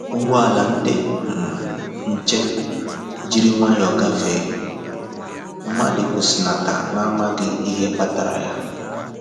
Ụgbọala ndi um nche jiri nwayọ um gafee, mmadụ kwụsịnata na amaghịkwa ihe kpatara ya